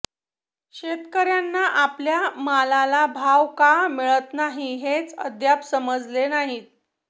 शेतकऱयांना आपल्या मालाला भाव का मिळत नाही हेच अद्याप समजले नाही